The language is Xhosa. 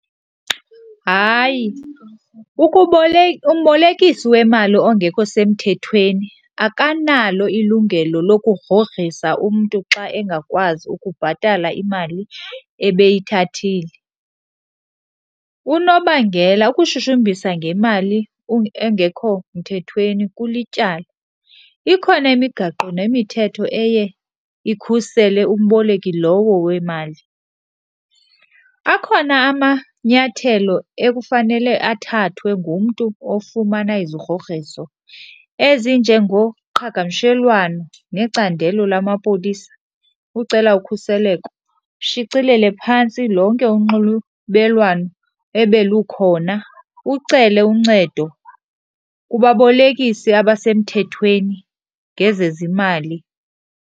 Hayi, umbolekisi wemali ongekho semthethweni akanalo ilungelo lokugrogrisa umntu xa engakwazi ukubhatala imali ebeyithathile. Unobangela, ukushushumbisa ngemali engekho mthethweni kulityala, ikhona imigaqo nemithetho eye ikhusele umboleki lowo wemali. Akhona amanyathelo ekufanele athathwe ngumntu ofumana izigrogriso ezinjengoqhagamshelwano necandelo lamapolisa ucela ukhuseleko, ushicilele phantsi lonke unxulubelwano ebelukhona, ucele uncedo kubabolekisi abasemthethweni ngezezimali.